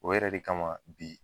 O yɛrɛ de kama bi.